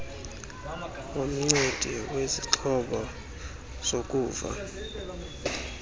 womncedi wezixhobo zokuva